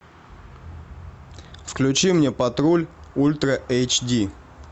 включи мне патруль ультра эйч ди